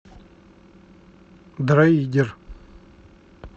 дроидер